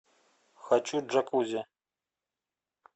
хочу джакузи